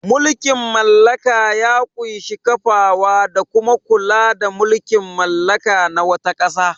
Mulkin mallaka ya ƙunshi kafawa da kuma kula da mulkin mallaka na wata ƙasa.